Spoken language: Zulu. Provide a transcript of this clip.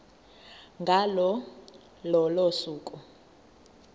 ngalo lolo suku